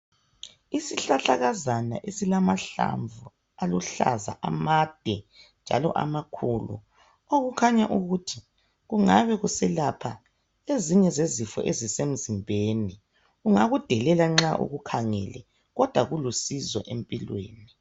Isihlahlakazana esilamahlamvu aluhlaza amade njalo amakhulu okukhanya ukuthi kungabe kuselapha ezinye zezifo ezisemzimbeni, ungakudelela nxa ukukhangele kodwa kulusizo empilweni.